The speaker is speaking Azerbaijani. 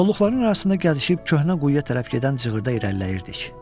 Kolluqların arasında gəzişib köhnə quyuya tərəf gedən cığırdan irəliləyirdik.